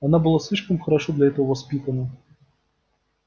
она была слишком хорошо для этого воспитана